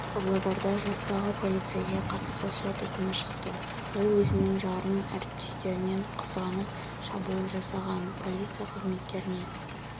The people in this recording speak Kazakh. павлодарда жастағы полицейге қатысты сот үкімі шықты ол өзінің жарын әріптесінен қызғанып шабуыл жасаған полиция қызметкеріне